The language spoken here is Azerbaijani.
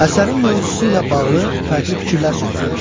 Əsərin mövzusu ilə bağlı fərqli fikirlər söylənmişdir.